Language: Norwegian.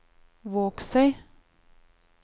Vågsøy